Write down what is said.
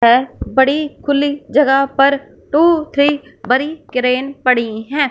है बड़ी खुली जगह पर टू थ्री बड़ी क्रेन पड़ी है।